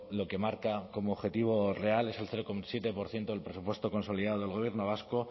lo que marca como objetivo real es el cero coma siete por ciento del presupuesto consolidado del gobierno vasco